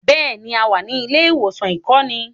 Bẹ́ẹ̀ni, a wà ní ilé-ìwòsàn ìkọ́ni.